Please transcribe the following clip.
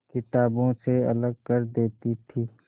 किताबों से अलग कर देती थी